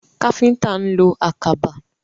Káfíntà ń lo àkàbà.